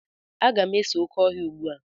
Aga m ese oké ọhịa ugbu a.